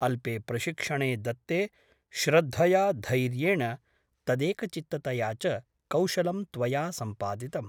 अल्पे प्रशिक्षणे दत्ते श्रद्धया , धैर्येण , तदेकचित्ततया च कौशलं त्वया सम्पादितम् ।